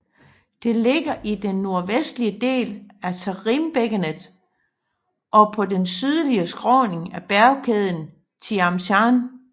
Det ligger i den nordvestlige del af Tarimbækkenet og på de sydlige skråninger af bjergkæden Tian Shan